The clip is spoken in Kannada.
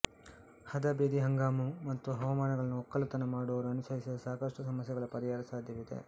ಹದಾ ಬೆದಿ ಹಂಗಾಮು ಮತ್ತು ಹವಾಮಾನಗಳನ್ನು ಒಕ್ಕಲುತನ ಮಾಡುವವರು ಅನುಸರಿಸಿದರೆ ಸಾಕಷ್ಟು ಸಮಸ್ಯೆಗಳ ಪರಿಹಾರ ಸಾಧ್ಯವಿದೆ